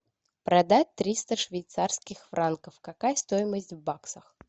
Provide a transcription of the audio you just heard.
продать триста швейцарских франков какая стоимость в баксах